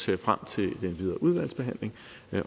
jeg frem til den videre udvalgsbehandling